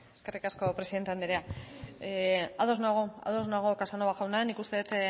eskerrik asko presidente anderea ados nago ados nago casanova jauna nik uste dut